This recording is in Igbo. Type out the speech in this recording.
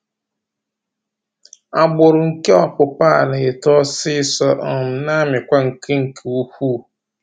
Agbụrụ nke ọpụpa a na-eto ọsịsọ um na-amịkwa nke nke ukwuu